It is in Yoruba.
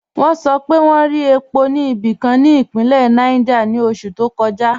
Wọn sọ̀ pé wọn rí è̩pó ni ibikan ni ipinlẹ̀ Niger ni oṣù to kọja.